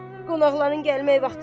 Qonaqların gəlmək vaxtıdır.